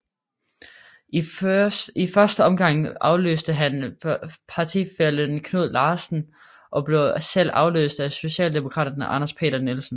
I første omgang afløste han partifællen Knud Larsen og blev selv afløst af socialdemokraten Anders Peter Nielsen